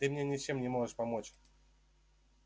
ты мне ничем не можешь помочь